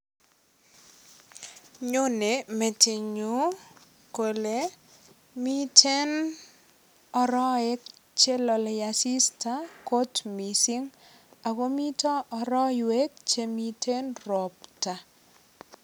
Chone metinyu kole miten arowek che lolei asista kot mising ago mito aroiwek che mite ropta.